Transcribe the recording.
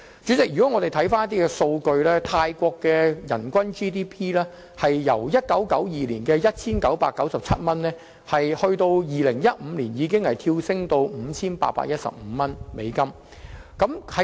根據有關數據，泰國的人均 GDP 已經由1992年的 1,997 美元跳升至2015年的 5,815 美元。